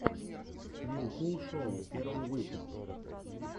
вилкул шоу первый выпуск